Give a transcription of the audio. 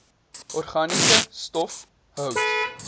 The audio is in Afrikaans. organiese stof hout